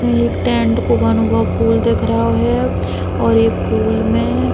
ये एक टेंट को बनो गओ फूल दिख रहो है और एक फूल में --